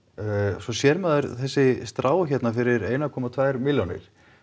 svo sér maður þessi strá hérna fyrir einum komma tvær milljónir